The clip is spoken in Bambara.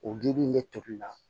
O gili in ne tobila